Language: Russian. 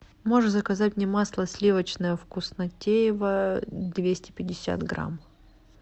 можешь заказать мне масло сливочное вкуснотеево двести пятьдесят грамм